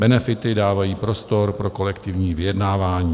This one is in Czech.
Benefity dávají prostor pro kolektivní vyjednávání.